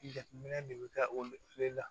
Jateminɛ de bɛ taa o le la